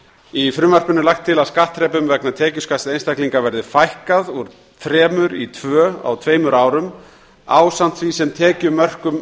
í frumvarpinu er lagt til að skattþrepum vegna tekjuskatts einstaklinga verði fækkað úr þremur í tvö á tveimur árum ásamt því sem tekjumörkum